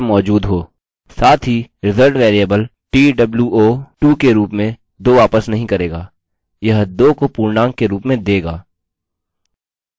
साथ ही result variable two के रूप में 2 वापस नहीं करेगायह 2 को पूर्णांक के रूप में देगा